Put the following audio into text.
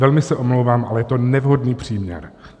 Velmi se omlouvám, ale je to nevhodný příměr.